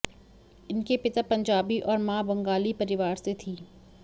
इनके पिता पंजाबी और मां बंगाली परिवार से थी